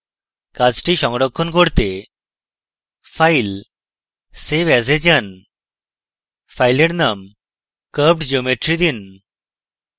কাজটি সংরক্ষণ করতে file>> save as এ যান file name curvedgeometry দিন